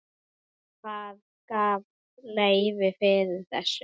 Hver gaf leyfi fyrir þessu?